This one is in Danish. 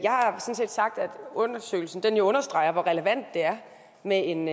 undersøgelsen jo understreger hvor relevant det er med en